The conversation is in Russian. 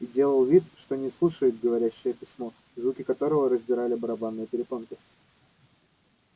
и делал вид что не слушает говорящее письмо звуки которого раздирали барабанные перепонки